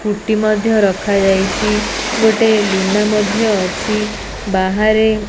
Scooty ମଧ୍ୟ ରଖାଯାଇଛି ଗୋଟେ ଲୁନା ମଧ୍ୟ ଅଛି ବାହାରେ।